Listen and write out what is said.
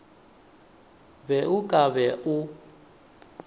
be o ka ba o